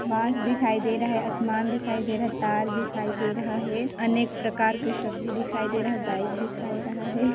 बास दिखाई दे रहा है असमान दिखाई दे रहा है दिखाई दे रहा है अनेक प्रकार के सब्जी दिखाई दे रहा है बाइक दिखाई दे रहा है।